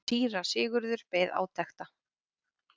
Síra Sigurður beið átekta.